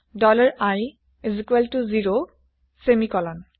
dollar i ০ semicolon